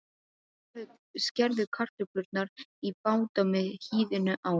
Skerðu kartöflurnar í báta með hýðinu á.